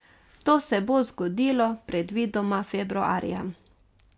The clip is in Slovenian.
To se bo zgodilo predvidoma februarja.